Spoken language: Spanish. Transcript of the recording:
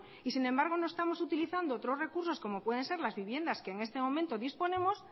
sin embargo no estamos utilizando otros recursos como pueden ser las viviendas que en este momento disponemos